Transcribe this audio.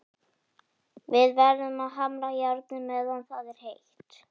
Við verðum að hamra járnið meðan það er heitt.